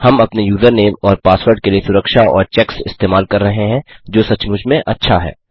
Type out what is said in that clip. हम अपने यूज़रनेम और पासवर्ड के लिए सुरक्षा और चेक्स इस्तेमाल कर रहे हैं जो सचमुच में अच्छा है